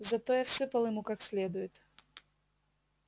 зато я всыпал ему как следует